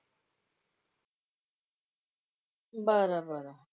बरं बरं.